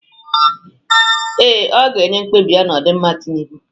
Ee, ọ ga-enye mkpebi ya n'ọdịmma Tinubụ.